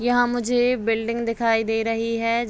यहाँ मुझे बिल्डिंग दिखाई दे रही है।